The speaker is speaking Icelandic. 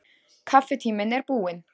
Kaffitíminn er búinn.